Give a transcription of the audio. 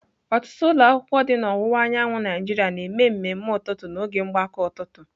Ọtụtụ ụlọ akwụkwọ dị na ọwụwa anyanwụ Nigeria na-eme mmemme ụtụtụ n'oge mgbakọ ụtụtụ.